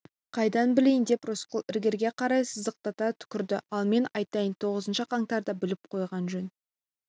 қайдан білейін деп рысқұл іргеге қарай сыздықтата түкірді ал мен айтайын тоғызыншы қаңтарды біліп қойған жөн